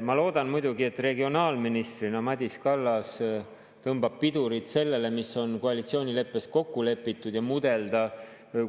Ma loodan muidugi, et regionaalministrina tõmbab Madis Kallas pidurit sellele, mis on koalitsioonileppes kokku lepitud ja